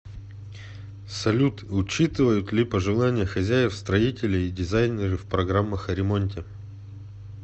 салют учитывают ли пожелания хозяев строители и дизайнеры в программах о ремонте